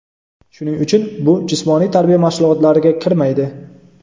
Shuning uchun bu jismoniy tarbiya mashg‘ulotlariga kirmaydi.